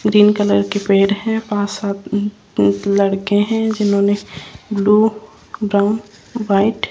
green colour के पेड़ है पांच सात लड़के हैं जिन्होंने ब्लू ब्राउन व्हाइट --